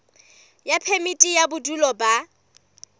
ya phemiti ya bodulo ba